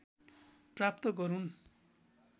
प्राप्त गरून्